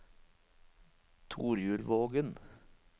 Torjulvågen